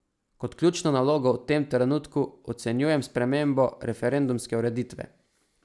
Kot ključno nalogo v tem trenutku ocenjujem spremembo referendumske ureditve.